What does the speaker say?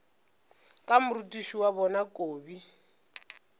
ka morutiši wa bona kobi